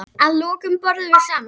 Að lokum borðum við saman.